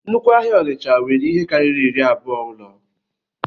Nnukwu ahịa onitsha nwere ihe karịrị iri abụọ ụlọ